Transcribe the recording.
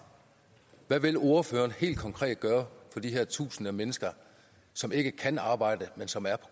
hvad vil ordføreren helt konkret gøre for de her tusinder af mennesker som ikke kan arbejde men som er